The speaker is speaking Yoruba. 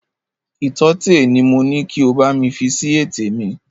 Ìtọ́tẹ̀ ni mo ni kí o bámi fi si ètè mi!